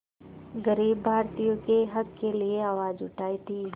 ग़रीब भारतीयों के हक़ के लिए आवाज़ उठाई थी